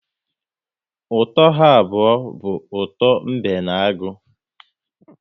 Ụtọ ha abụọ bụ ụtọ mbe na agụ